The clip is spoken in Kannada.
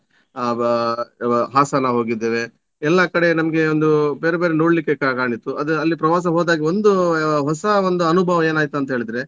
ಅ ವಾ~ ಅ ವಾ~ ಹಾಸನ ಹೋಗಿದ್ದೇವೆ ಎಲ್ಲ ಕಡೆ ನಮ್ಗೆ ಒಂದು ಬೇರೆ ಬೇರೆ ನೋಡ್ಲಿಕ್ಕೆ ಕಾಣಿತ್ತು. ಅದೇ ಅಲ್ಲಿ ಪ್ರವಾಸ ಹೋದಾಗ ಒಂದು ಹೊಸ ಒಂದು ಅನುಭವ ಏನಾಯ್ತಂತ ಹೇಳಿದ್ರೆ